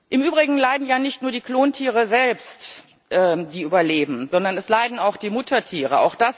Im Übrigen leiden ja nicht nur die Klontiere selbst, die überleben, sondern es leiden auch die Muttertiere.